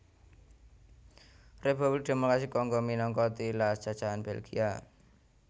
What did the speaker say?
Republik Démokrasi Kongo minangka tilas jajahan Belgia